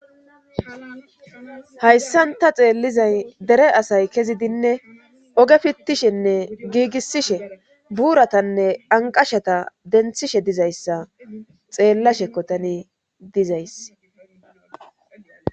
Hayssanta xeellizay dere asay kezidinne oge fittishenne giigissishe buuratanne anqashata denthishe dizayssa xeellashekko tani dizays.